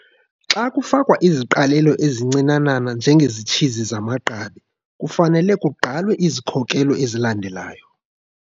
Xa kufakwa iziqalelo ezincinanana njengesitshizi samagqabi, kufanele kugqalwe izikhokelo ezilandelayo.